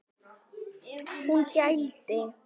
Hún gældi.